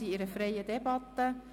Wir führen eine freie Debatte.